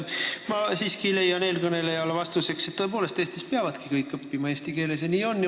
Ma siiski leian, vastates eelkõnelejale, et Eestis peavadki kõik tõepoolest õppima eesti keeles ja nii on.